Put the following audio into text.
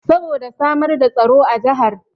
Saboda samar da tsaro a jahar